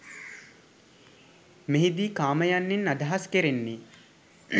මෙහිදී කාම යන්නෙන් අදහස් කෙරෙන්නේ